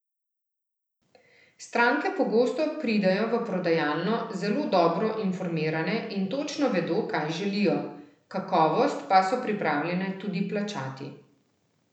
Stranke pogosto pridejo v prodajalno zelo dobro informirane in točno vedo, kaj želijo, kakovost pa so pripravljene tudi plačati.